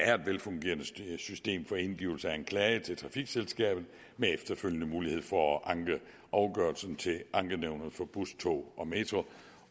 er et velfungerende system for indgivelse af klage til trafikselskabet med efterfølgende mulighed for at anke afgørelsen til ankenævnet for bus tog og metro